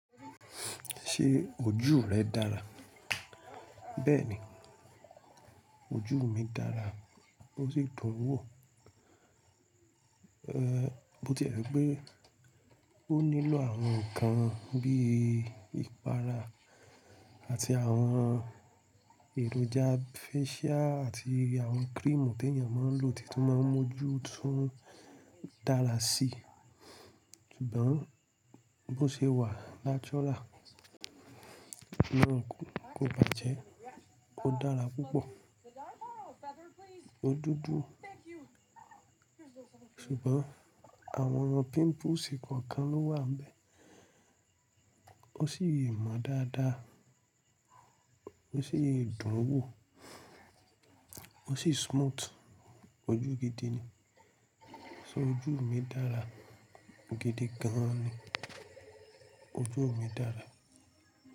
Ṣé ojú rẹ dára? Bẹ́ẹ̀ni, ojú mi dára, ó sì dùn wò. Ehn, bó ti rẹ pé, ó nílò àwọn nǹkan bí i ìpara àti àwọn èròjà facial àti àwọn cream tí ènìyàn máa ń lò tìtún máa ń mójú tún ń dára sí. Ṣùgbọ́n bó ṣe wà natural náà kò bàjẹ́, ó dára púpọ̀, ó dúdú. Ṣùgbọ́n àwọn pimples kòkan ló wà ń bẹ́ẹ̀. Ó sì yè mọ dáadáa, ó sì yè dùn wò, ó sì smooth, ojú gidi ni. So, ojú mi dára, gidi gan ni ojú mi dára.